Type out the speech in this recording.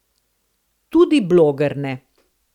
Tudi bloger ne.